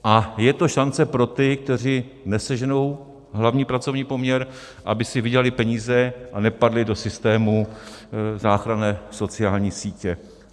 A je to šance pro ty, kteří neseženou hlavní pracovní poměr, aby si vydělali peníze a nepadli do systému záchranné sociální sítě.